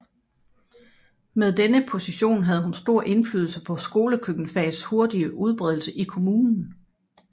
Med denne position havde hun stor indflydelse på skolekøkkenfagets hurtige udbredelse i kommunen